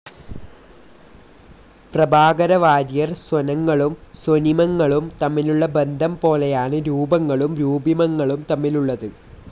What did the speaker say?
പ്രഭാകരവാര്യർ സ്വനങ്ങളും സ്വനിമങ്ങളും തമ്മിലുള്ള ബന്ധം പോലെയാണ് രൂപങ്ങളും രൂപിമങ്ങളും തമ്മിലുള്ളത്.